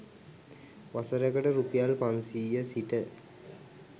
වසරකට රුපියල් 500 සිට